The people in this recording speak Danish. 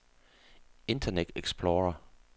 internet explorer